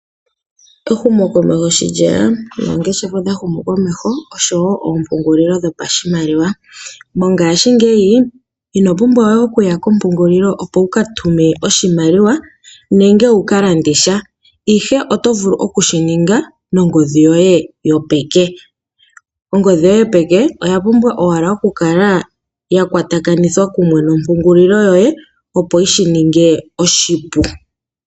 Ehumo komesho sho lyeya, noongeshefa odha humu komeho nosho wo oompungulilo dho pashimaliwa. Mongashingeyi ino pumbwa we okuya kompungulilo opo wuka tume oshimaliwa nenge wukalande sha, ihe oto vulu okushininga nongodhi yoye yopeke. Ongodhi yoye yopeke oya pumbwa owala okukala yakwatakanithwa kumwe nompungulilo yoye opo yi shininge oshipu.